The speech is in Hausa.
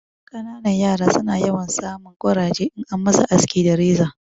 Ƙananan yara su na yawan sa mun ƙuraje in an ma su aski da reza